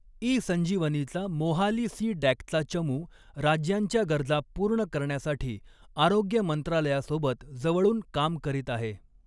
E संजिवनीचा Mohali C डँकचा चमू राज्यांच्या गरजा पूर्ण करण्यासाठी आरोग्य मंत्रालयासोबत जवळून काम करीत आहे.